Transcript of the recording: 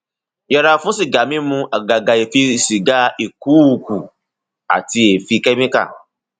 yẹra fún sìgá mímu àgàgà èéfín sìgá ìkuukù àti èéfín kẹmíkà